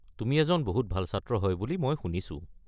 তুমি এজন বহুত ভাল ছাত্ৰ হয় বুলি মই শুনিছো।